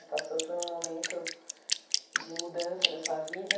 Você passou por um momento de mudança da sua vida.